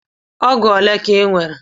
Ọgụ ole ka Ị nwere?